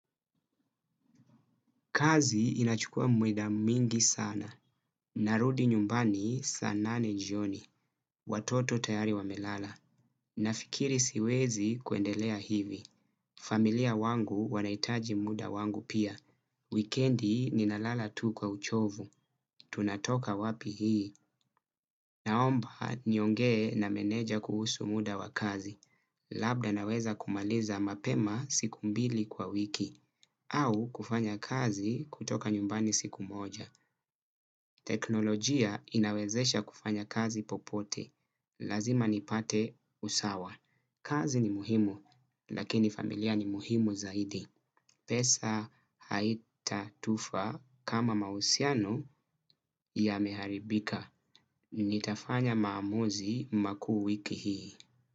Kazi inachukua mweda mingi sana. Narudi nyumbani saa nane jioni. Watoto tayari wamelala. Nafikiri siwezi kuendelea hivi. Familia wangu wanaitaji muda wangu pia. Wikendi ninalala tu kwa uchovu. Tunatoka wapi hii. Naomba niongee na meneja kuhusu muda wa kazi. Labda naweza kumaliza mapema siku mbili kwa wiki. Au kufanya kazi kutoka nyumbani siku moja. Teknolojia inawezesha kufanya kazi popote. Lazima nipate usawa. Kazi ni muhimu lakini familia ni muhimu zaidi. Pesa haita tufa kama mausiano yameharibika. Nitafanya maamuzi makuu wiki hii.